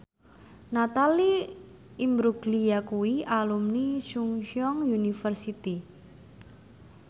Natalie Imbruglia kuwi alumni Chungceong University